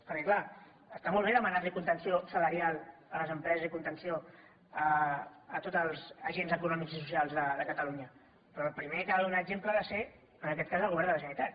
perquè clar està molt bé demanar contenció salarial a les empreses i contenció a tots els agents econòmics i socials de catalunya però el primer que ha de donar exemple ha de ser en aquest cas el govern de la generalitat